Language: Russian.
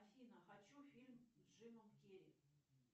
афина хочу фильм с джимом керри